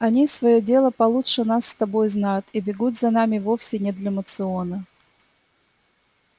они своё дело получше нас с тобой знают и бегут за нами вовсе не для моциона